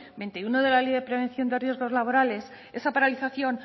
veintiuno de la ley de prevención de riesgos laborales esa paralización